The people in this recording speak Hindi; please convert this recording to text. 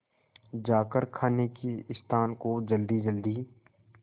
जाकर खाने के स्थान को जल्दीजल्दी